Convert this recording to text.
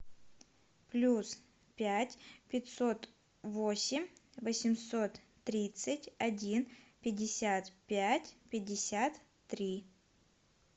плюс пять пятьсот восемь восемьсот тридцать один пятьдесят пять пятьдесят три